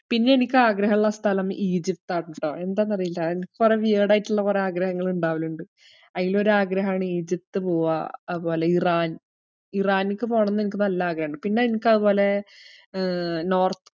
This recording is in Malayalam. പിന്നെ എനിക്കാഗ്രഹിള്ള സ്ഥലം ഈജിപ്താണ് ട്ടോ, എന്താന്നറിയില്ല എനിക്ക് കൊറേ weird ആയിട്ട്ള്ള കൊറേ ആഗ്രഹങ്ങൾ ഇണ്ടാവലിണ്ട്. അയിലൊരു ആഗ്രഹാണ് ഈജിപ്ത് പോവ്വാ, അതുപോലെ ഇറാൻ. ഇറാനിക്ക്‌ പോണംന്ന് എനിക്ക് നല്ല ആഗ്രഹിണ്ട്. പിന്നെ എനിക്കതുപോലെ ഏർ north